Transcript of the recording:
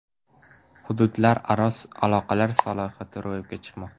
Hududlararo aloqalar salohiyati ro‘yobga chiqmoqda.